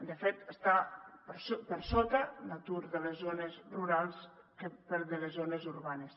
de fet està per sota l’atur de les zones rurals del de les zones urbanes